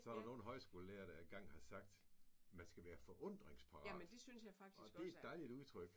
Så er der nogle højskolelærere der engang har sagt man skal være forundringsparat og det et dejligt udtryk